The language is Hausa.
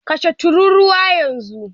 Kashe tururuwa yanzu!